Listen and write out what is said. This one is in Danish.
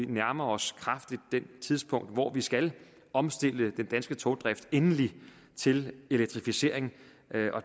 nærmer os det tidspunkt hvor vi skal omstille den danske togdrift endeligt til elektrificering